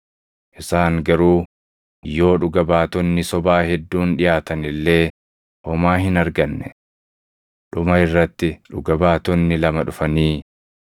Isaan garuu yoo dhuga baatonni sobaa hedduun dhiʼaatan illee homaa hin arganne. Dhuma irratti dhuga baatonni lama dhufanii,